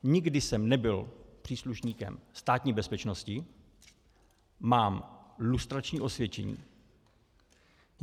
Nikdy jsem nebyl příslušníkem Státní bezpečnosti, mám lustrační osvědčení.